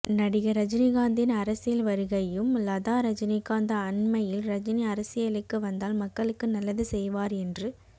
நடிகர் ரஜினிகாந்தின் அரசியல் வருகையும் லதா ரஜினிகாந்த் அண்மையில் ரஜினி அரசியலுக்கு வந்தால் மக்களுக்கு நல்லது செய்வார் என்று